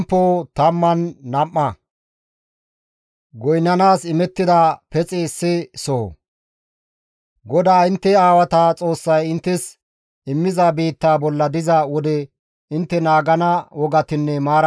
GODAA intte aawata Xoossay inttes immiza biittaa bolla diza wode intte naagana wogatinne maarati haytantta;